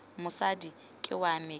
mosadi ke wa me ke